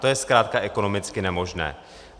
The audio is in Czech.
To je zkrátka ekonomicky nemožné.